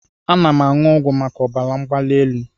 Ana m aṅụ ọgwụ maka ọbara mgbali elu.